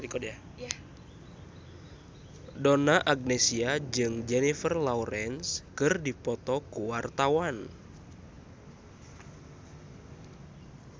Donna Agnesia jeung Jennifer Lawrence keur dipoto ku wartawan